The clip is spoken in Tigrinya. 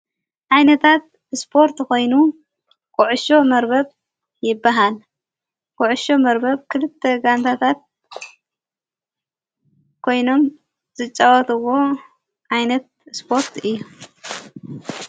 ዓይነታት እስጶርት ኾይኑ ቊዕሾ መርበብ ይበሃል ጐዑሾ መርበብ ክልተ ጋንታታት ኮይኖም ዘጨወትዎ ዓይነት እስጶርት እዩ።